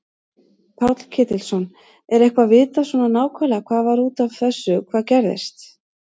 Páll Ketilsson: Er eitthvað vitað svona nákvæmlega hvað var út af þessu hvað gerðist?